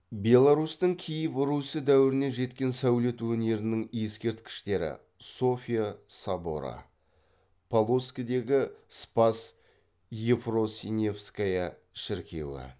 беларусьтің киев русі дәуірінен жеткен сәулет өнерінің ескерткіштері софия соборы полоцкідегі спасс евфросиньевская шіркеуі